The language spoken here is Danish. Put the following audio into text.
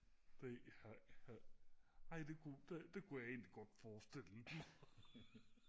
ej det kunne jeg egentlig godt forstille mig